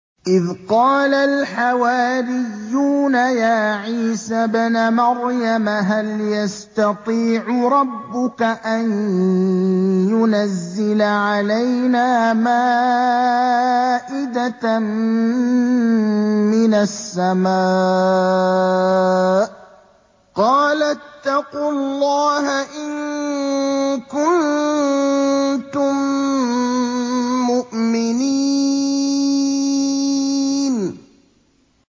إِذْ قَالَ الْحَوَارِيُّونَ يَا عِيسَى ابْنَ مَرْيَمَ هَلْ يَسْتَطِيعُ رَبُّكَ أَن يُنَزِّلَ عَلَيْنَا مَائِدَةً مِّنَ السَّمَاءِ ۖ قَالَ اتَّقُوا اللَّهَ إِن كُنتُم مُّؤْمِنِينَ